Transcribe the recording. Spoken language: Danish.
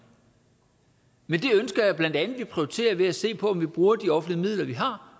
men det ønsker jeg bla at vi prioriterer ved at se på om vi bruger de offentlige midler vi har